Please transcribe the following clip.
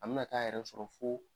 An bɛna t'a yɛrɛ sɔrɔ fo